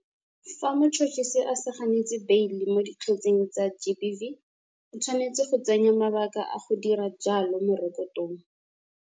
Fa motšhotšhisi a sa ganetse beile mo dikgetseng tsa GBV, o tshwanetse go tsenya mabaka a go dira jalo mo rekotong.